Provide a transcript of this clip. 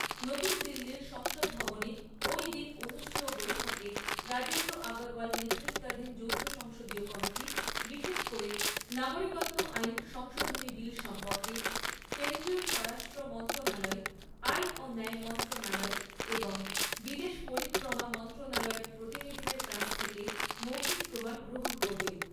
নতুন দিল্লীর সংসদভবনে ঐদিন অনুষ্ঠেয় বৈঠকে রাজেন্দ্র আগরওয়াল নেতৃত্বাধীন যৌথ সংসদীয় কমিটি বিশেষ করে নাগরিকত্ব আইন সংশোধনী বিল সম্পর্কে কেন্দ্রীয় স্বরাষ্ট্র মন্ত্রণালয়, আইন ও ন্যায় মন্ত্রণালয় এবং বিদেশ পরিক্রমা মন্ত্রণালয়ের প্রতিনিধিদের কাছ থেকে মৌখিক প্রমাণ গ্রহণ করবে।